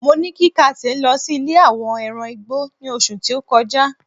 mo ni kí kate lo sí ilè àwọn ẹran igbó ni oṣù ti o kọjá